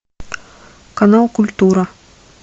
канал культура